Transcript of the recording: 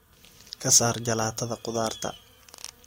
ka saar jalaatada khudaarta